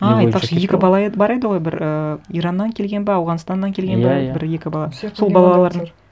а айтпақшы екі бала еді бар еді ғой бір ііі ираннан келген бе ауғанстаннан келген бе иә иә бір екі бала сол балалар